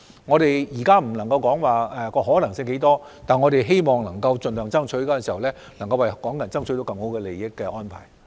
我們現在不能說可能性有多大，但我們會盡力爭取，希望取得對港人更有利的安排。